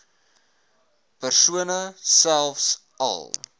persone selfs al